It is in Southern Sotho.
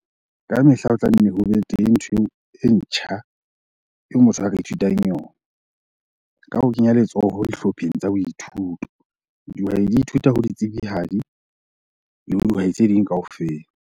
Kamehla ho tla nne ho be teng ntho e ntjha eo motho a ka ithutang yona. Ka ho kenya letsoho dihlopheng tsa boithuto, dihwai di ithuta ho ditsebihadi le ho dihwai tse ding kaofela.